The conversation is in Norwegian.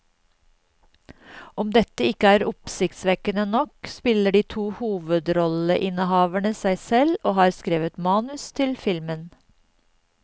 Om dette ikke er oppsiktsvekkende nok, spiller de to hovedrolleinnehaverne seg selv og har skrevet manus til filmen.